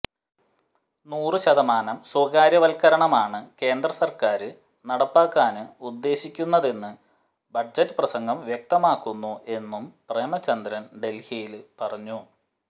നൂറ ്ശതമാനം സ്വകാര്യവത്കരണമാണ് കേന്ദ്ര സര്ക്കാര് നടപ്പാക്കാന് ഉദ്ദേശിക്കുന്നതെന്ന് ബജറ്റ് പ്രസംഗം വ്യക്തമാക്കുന്നു എന്നും പ്രേമചന്ദ്രന് ഡല്ഹിയില് പറഞ്ഞു